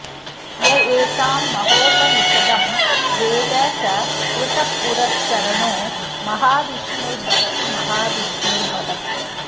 य एतां महोपनिषदं वेद स कृतपुरश्चरणो महाविष्णुर्भवति महाविष्णुर्भवति